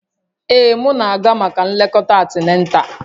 Ee, m na-aga maka nlekọta antinatal